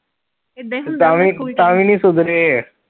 ਇੱਦਾਂ ਹੀ ਹੁੰਦਾ ਹੁੰਦਾ school ਚ, ਤਾਂ ਵੀ ਨੀ ਸੁਧਰੇ